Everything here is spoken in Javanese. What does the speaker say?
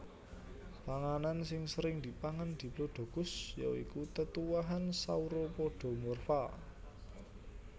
Panganan sing sering dipangan Diplodocus ya iku tetuwuhan Sauropodomorpha